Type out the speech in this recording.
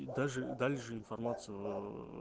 и даже дали же информацию ээ